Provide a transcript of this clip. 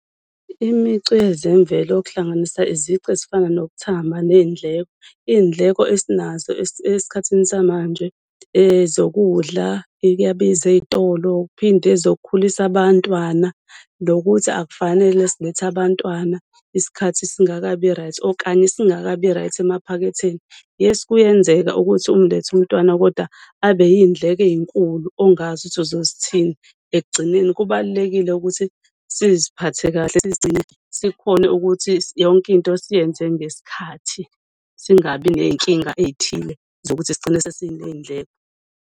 Imicu yezemvelo okuhlanganisa izici ezifana nokuthamba ney'ndleko, iy'ndleko esinazo esikhathini samanje ezokudla, eyi kuyabiza ey'tolo. Uphinde uzokhulisa abantwana, nokuthi akufanele silethe abantwana isikhathi singakabi-right, okanye singakabi-right emaphaketheni. Yes, kuyenzeka ukuthi umlethe umntwana, kodwa abe iy'ndleko ey'nkulu ongazi ukuthi uzozithini. Ekugcineni kubalulekile ukuthi siziphathe kahle, sizigcine sikhone ukuthi yonke into siyenze ngesikhathi, singabi ney'nkinga ey'thile zokuthi sigcine sesiney'ndleko.